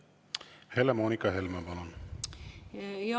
Helle-Moonika Helme, palun!